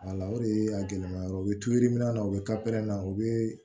o de ye a gɛlɛma yɔrɔ ye o bɛ turu yirimina na u bɛ na u bɛ